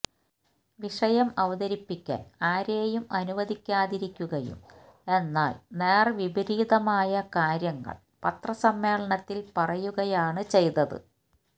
വിഷയം അവതരിപ്പിക്കാന് ആരേയും അനുവദിക്കാതിരിക്കുകയും എന്നാല് നേര്വിപരീതമായ കാര്യങ്ങള് പത്രസമ്മേളത്തില് പറയുകയാണ് ചെയ്തത്